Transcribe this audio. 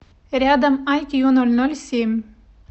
рядом айкьюнольнольсемь